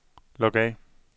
log af